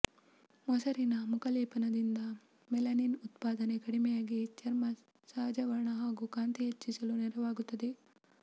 ಮೊಸರಿನ ಮುಖಲೇಪದಿಂದ ಮೆಲನಿನ್ ಉತ್ಪಾದನೆ ಕಡಿಮೆಯಾಗಿ ಚರ್ಮ ಸಹಜವರ್ಣ ಹಾಗೂ ಕಾಂತಿ ಹೆಚ್ಚಿಸಲು ನೆರವಾಗುತ್ತದೆ